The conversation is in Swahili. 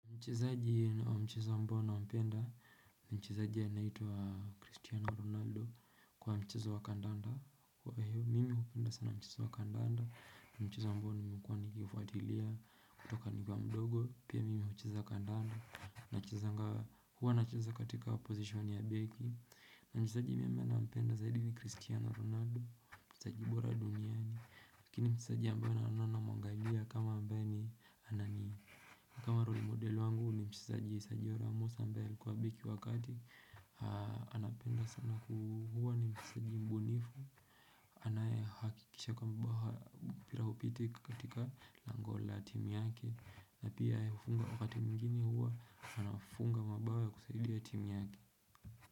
Mchezaji wa mchezo ambao nampenda, ni mchezaji anaitwa Cristiano Ronaldo wa mchezo wa kandanda. Mimi hupenda sana mchezo wa kandanda, ni mchezo ambao nimkuwa nikifuatilia kutoka nikiwa mdogo, pia mimi hucheza kandanda, huwa nacheza katika position ya beki. Mchezaji mimi nampenda zaidi ni Cristiano Ronaldo, mchezaji bora duniani, Lakini mchezaji ambayo naona namwangalia kama ambaye ni anani kama roli model wangu ni mchezaji Sergio Ramos ambaye alikua biki wa kati anapenda sana ku hua ni mchezaji mbunifu anaye hakikisha kwamba mpira hupiti katika lango la timu yake na pia yeye hufunga wakati mwingine hua anafunga mabao ya kusaidia timu yake.